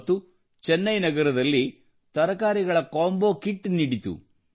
ಮತ್ತು ಚೆನ್ನೈ ನಗರದಲ್ಲಿ ತರಕಾರಿಗಳ ಕೊಂಬೋ ಕಿಟ್ ನೀಡಿತು